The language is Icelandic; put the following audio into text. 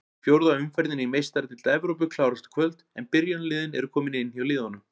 Fjórða umferðin í Meistaradeild Evrópu klárast í kvöld en byrjunarliðin eru komin inn hjá liðunum.